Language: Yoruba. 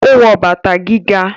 ó wọ bàtà gíga